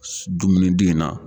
Dumunidi in na.